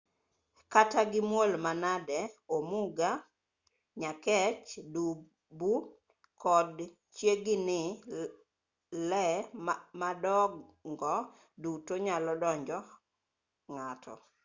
kata gimuol manade omuga nyakech dubu kod chiegini lee madongo duto nyalo monjo ng'ato